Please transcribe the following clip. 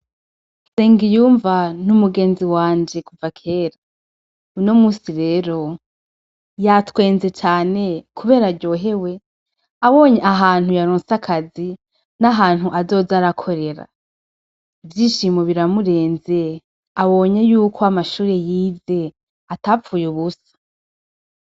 Nsengiyumva n'umugenzi wanje kuva kera, uno musi rero yatwenze cane kubera aryohewe abonye ahantu yaronse akazi n'ahantu azoza arakorera, ivyishimo biramurenze abonye yuko amashure yize atapfuye ubusa.